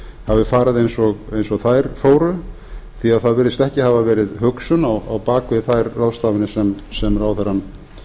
hafi farið eins og þær fóru því að það virðist ekki hafa verið hugsun á bak við þær ráðstafanir sem ráðherrann